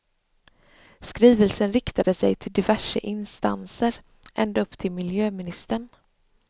Skrivelsen riktade sig till diverse instanser, ända upp till miljöministern.